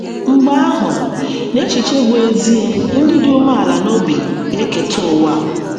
Mgbe ahụ, n’echiche bụ́ ezie, ‘ ndị dị umeala n’obi ga - eketa ụwa. ’